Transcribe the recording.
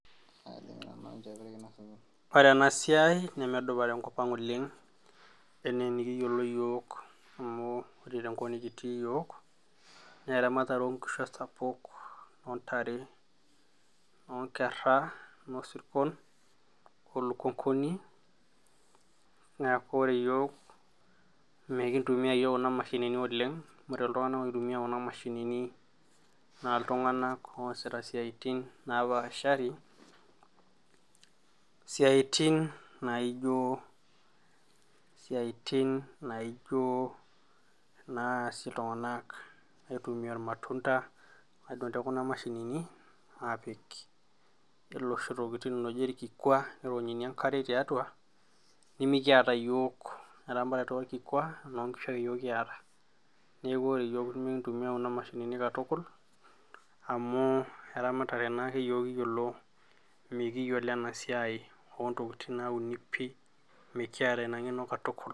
Wore enasiai nemedupa tenkop ang oleng, enaa enikiyiolo iyiok, amu wore tenkop nikitii iyiok naa eramatare oo inkishu esapuk, oontare, onkera, oosirkon , oolukunguni. Niaku wore iyiok mikintumia iyiok kuna mashini oleng, wore iltunganak oitumia kuna mashinini naa iltunganak oosita isiaitin naapashari, isiaitin naijo naasie iltunganak aitumia irmatunda, aadung tekuna mashinini apik iloshi tokiting ooji orkikua, nironyunyi enkare tiatua nimikiata iyiok eramatata orkikua, niaku inkishu ake yiok kiata. Niaku wore iyiok mikintumia kuna mashinini katukul amu eramatare naa ake iyiok kiyiolo, mikiyiolo enasiai oontokiting nauni pii, mikiata inangeno.